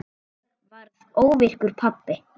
Ég varð óvirkur pabbi.